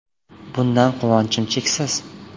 Bundan quvonchim cheksiz.